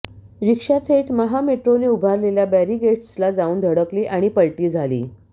रिक्षा थेट महामेट्रोने उभारलेल्या बॅरिगेट्सला जाऊन धडकली आणि पलटी झाली